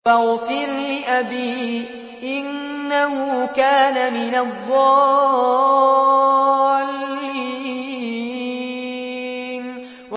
وَاغْفِرْ لِأَبِي إِنَّهُ كَانَ مِنَ الضَّالِّينَ